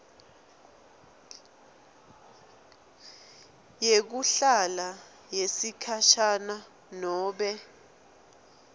yekuhlala yesikhashana nobe